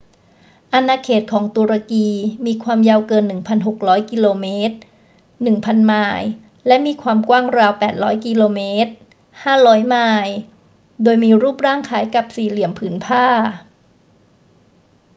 อาณาเขตของตุรกีมีความยาวเกิน 1,600 กิโลเมตร 1,000 ไมล์ และมีความกว้างราว 800 กิโลเมตร 500 ไมล์ โดยมีรูปร่างคล้ายกับสี่เหลี่ยมผืนผ้า